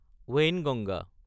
Wainganga